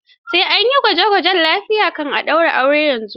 Sai an yi gwaje gwajen lafiya ake ɗaura aure yanzu.